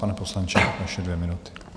Pane poslanče, vaše dvě minuty.